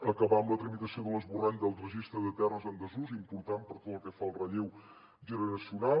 acabar amb la tramitació de l’esborrany del registre de terres en desús important per tot el que fa al relleu generacional